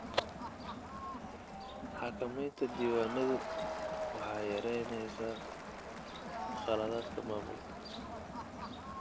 Xakamaynta diiwaanadu waxay yaraynaysaa khaladaadka maamulka.